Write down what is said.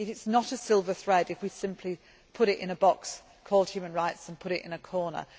It is not a silver thread if we simply put it in a box called human rights and put it in a corner.